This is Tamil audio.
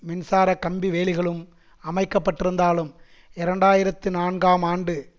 மின்சாரக் கம்பி வேலிகளும் அமைக்கப்பட்டிருந்தாலும் இரண்டு ஆயிரத்தி நான்கு ஆம் ஆண்டு